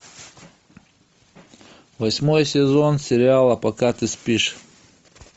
восьмой сезон сериала пока ты спишь